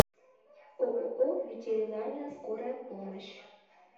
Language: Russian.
ооо ветеринарная скорая помощь